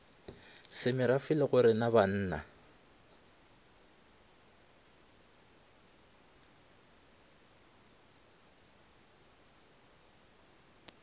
semerafe le gorena ga bannna